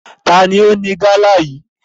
Taàní ó ní gala yí?